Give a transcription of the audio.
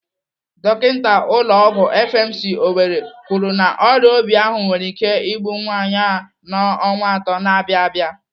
Dọkinta ụlọ ọgwụ FMC, Owerri kwuru na ọrịa obi ahụ nwere ike igbu nwaanyị a n'ọnwa atọ na-abịa abịa.